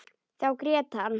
Þá grét hann.